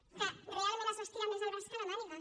en què realment es va estirar més el braç que la màniga